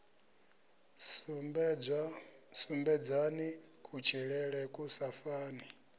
sumbedzani kutshilele ku sa fani